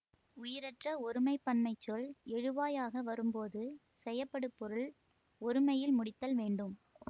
உயிரற்ற ஒருமை பன்மைச் சொல் எழுவாய் ஆக வரும்போது செயப்படுபொருள் ஒருமையில் முடித்தல் வேண்டும்